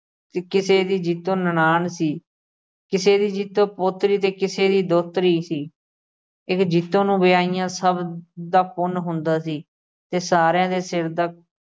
ਤੇ ਕਿਸੇ ਦੀ ਜੀਤੋ ਨਨਾਣ ਸੀ। ਕਿਸੇ ਦੀ ਜੀਤੋ ਪੋਤਰੀ ਤੇ ਕਿਸੇ ਦੀ ਦੋਹਤਰੀ ਸੀ। ਜੀਤੋ ਨੂੰ ਵਿਆਹੁਣ ਨਾਲ ਸਭ ਦਾ ਪੁੰਨ ਹੁੰਦਾ ਸੀ ਤੇ ਸਾਰਿਆਂ ਦੇ ਸਿਰ ਦਾ